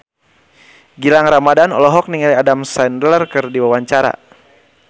Gilang Ramadan olohok ningali Adam Sandler keur diwawancara